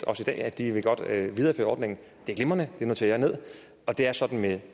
os i dag at de godt vil videreføre ordningen at det er glimrende det noterer jeg og det er sådan at